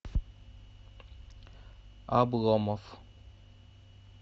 обломов